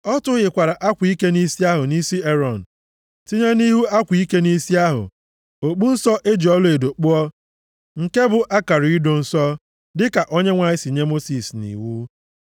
Ọ tụhịkwara akwa ike nʼisi ahụ nʼisi Erọn, tinye nʼihu akwa ike nʼisi ahụ, okpu nsọ e ji ọlaedo kpụọ, nke bụ akara ido nsọ, dịka Onyenwe anyị si nye Mosis nʼiwu.